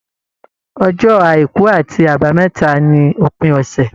Ọjọ́ àìkú àti àbámẹ́ta ní òpin ọsẹ.